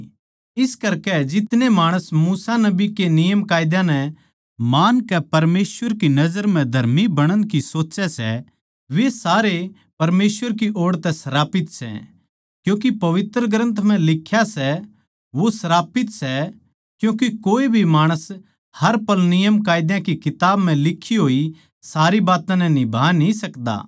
इस करकै जितने माणस मूसा नबी के नियमकायदा नै मानकै परमेसवर की नजर म्ह धर्मी बणण की सोच्चै सै वे सारे परमेसवर की ओड़ तै श्रापित सै क्यूँके पवित्र ग्रन्थ म्ह लिख्या सै वो श्रापित सै क्यूँके कोए भी माणस हर पल नियमकायदा की किताब म्ह लिखी होई सारी बात्तां नै निभा न्ही सकदा